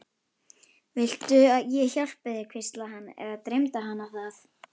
Viltu ég hjálpi þér, hvíslaði hann- eða dreymdi hana það?